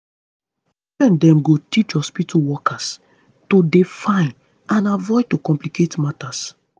dem go teach hospitu workers to dey fine and avoid to complicate matters